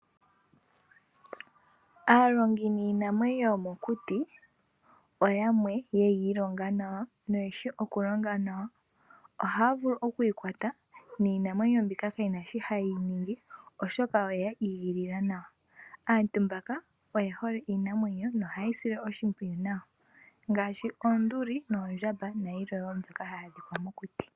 Aalongi niinamwenyo yomokuti oyamwe ye yi ilonga nawa no ye shi okulonga nawa. Ohaa vulu okuyi kwata niinamwenyo mbika kayi na shi haye yi ningi oshoka oye ya igilila nawa. Aantu mbaka oye hole iinamwenyo nohaye yi sile oshimpwiyu nawa ngaashi oonduli, noondjamba nayilwe wo mbyoka hayi adhika mokuti.